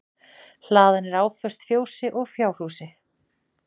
Hlaðan er áföst fjósi og fjárhúsi